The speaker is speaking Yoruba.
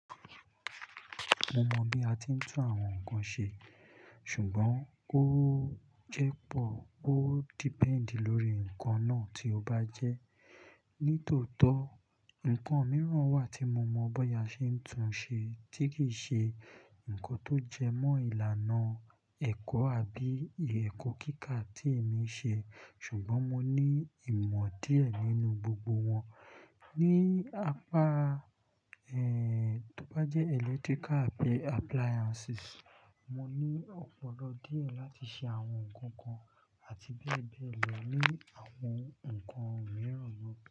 Mo mọ bí a ti ń tún àwọn nǹkan ṣe, ṣùgbọ́n ó jẹ́ pọ̀, ó depend lórí nǹkan náà tí ó bá jẹ́. Nítòótọ́, nǹkan mìíràn wà tí mo mọ̀ bóyá ṣe ń tún ṣe tí kì í ṣe nǹkan tó jẹmọ́ ìlànà ẹ̀kọ́ àbí ẹ̀kọ́ kíkà tí èmi ṣe. Ṣùgbọ́n mo ní ìmọ̀ díẹ̀ nínú gbogbo wọn. Ni apá, ẹ́, tó bá jẹ́ electrical àbí appliances, mo ní ọ̀pọ̀lọ díẹ̀ láti ṣe àwọn nǹkan kan àti bẹ́ẹ̀ bẹ́ẹ̀ lọ ní àwọn nǹkan mìíràn na.